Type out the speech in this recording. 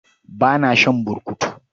Ba na shan burkutu.